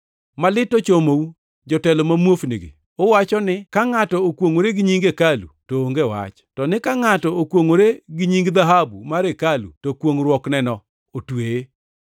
“Malit ochomou, jotelo ma muofnigi! Uwacho ni, ‘Ka ngʼato okwongʼore gi nying hekalu to onge wach, to ni ka ngʼato okwongʼore gi nying dhahabu mar hekalu to kwongʼruokneno otweye.’